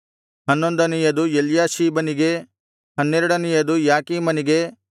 ಹನ್ನೊಂದನೆಯದು ಎಲ್ಯಾಷೀಬನಿಗೆ ಹನ್ನೆರಡನೆಯದು ಯಾಕೀಮನಿಗೆ